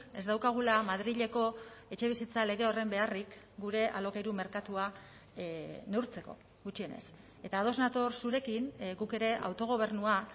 ez daukagula madrileko etxebizitza lege horren beharrik gure alokairu merkatua neurtzeko gutxienez eta ados nator zurekin guk ere autogobernua